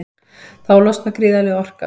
Þá losnar gríðarleg orka.